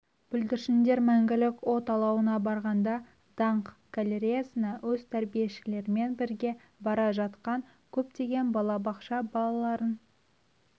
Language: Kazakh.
бүлдіршіндер мәңгілік от алауына барғанда даңқ галереясына өз тәрбиешілерімен бірге бара жатқан көптеген бала бақша балаларын